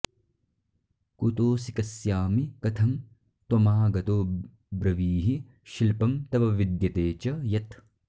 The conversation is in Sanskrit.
कुतोसि कस्यामि कथं त्वमागतो ब्रवीहि शिल्पं तव विद्यते च यत्